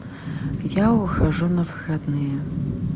я ухожу на выходные